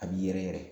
A b'i yɛrɛ yɛrɛ